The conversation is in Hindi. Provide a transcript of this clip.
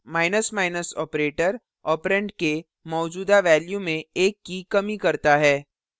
operator operand के मौजूदा value में एक की कमी करता है